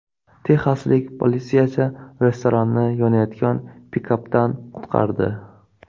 Texaslik politsiyachi restoranni yonayotgan pikapdan qutqardi .